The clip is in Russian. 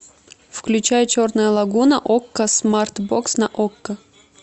включай черная лагуна окко смарт бокс на окко